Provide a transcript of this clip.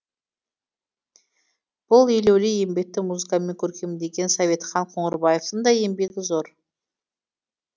бұл елеулі еңбекті музыкамен көркемдеген советхан қоңырбаевтың да еңбегі зор